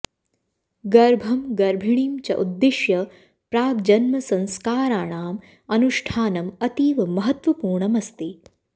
गर्भं गर्भिणीं च उद्दिश्य प्राग्जन्मसंस्कारणाम् अनुष्ठानम् अतीव महत्त्वपूर्णमस्ति